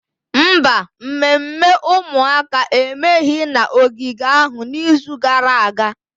Mba, mmemme ụmụaka emeghị na ogige ahụ n'izu gara aga.